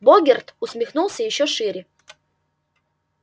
богерт усмехнулся ещё шире